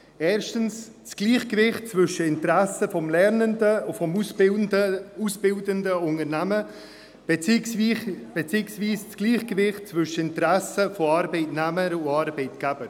Erstens: das Gleichgewicht zwischen dem Interesse des Lernenden und vom ausbildenden Unternehmen beziehungsweise das Gleichgewicht zwischen Arbeitnehmer und Arbeitgeber;